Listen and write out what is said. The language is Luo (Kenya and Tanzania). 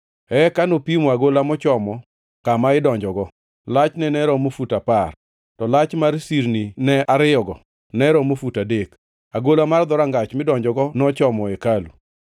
lachne ne romo fut apar, to lach mar sirnine ariyogo ne romo fut adek. Agola mar dhorangach midonjogo nochomo hekalu.